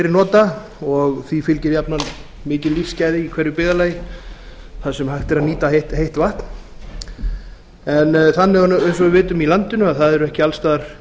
nota og því fylgir jafnan mikil lífsgæði í hverju byggðarlagi þar sem hægt er að nýta heitt vatn þannig er eins og við vitum að í landinu er ekki alls staðar